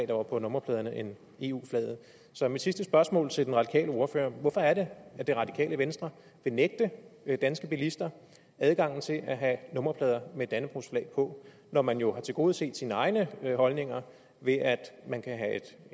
der var på nummerpladerne end eu flaget så mit sidste spørgsmål til den radikale ordfører er hvorfor er det at det radikale venstre vil nægte danske bilister adgangen til at have nummerplader med dannebrogsflag på når man jo har tilgodeset sine egne holdninger ved at man kan have